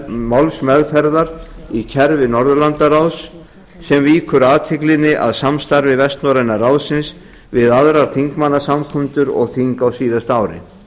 málsmeðferðar í kerfi norðurlandaráðs sem víkur athyglinni að samstarfi vestnorræna ráðsins við aðrar þingmannasamkundur og þing á síðasta ári